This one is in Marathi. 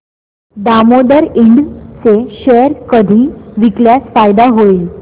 दामोदर इंड चे शेअर कधी विकल्यास फायदा होईल